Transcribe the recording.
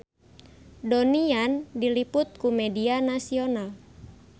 Donnie Yan diliput ku media nasional